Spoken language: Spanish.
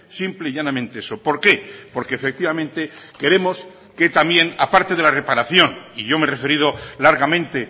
simple y llanamente eso por qué porque efectivamente queremos que también aparte de la reparación y yo me he referido largamente